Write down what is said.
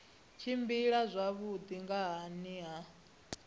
tshimbila zwavhui nga nhani ha